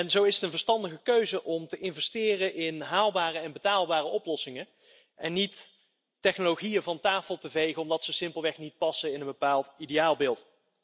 Zo is het een verstandige keuze om te investeren in haalbare en betaalbare oplossingen en om geen technologieën van tafel te vegen omdat zij simpelweg niet passen in een bepaald ideaalbeeld.